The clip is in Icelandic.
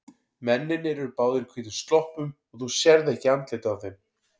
Mennirnir eru báðir í hvítum sloppum og þú sérð ekki andlitið á þeim.